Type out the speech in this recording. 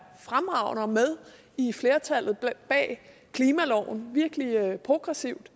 fremragende og med i flertallet bag klimaloven virkelig progressivt